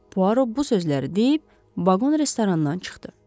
Poirot bu sözləri deyib baqondan restorandan çıxdı.